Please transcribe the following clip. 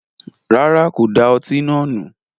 Rárá, kò da ọtí náà nù